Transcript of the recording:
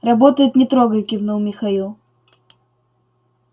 работает не трогай кивнул михаил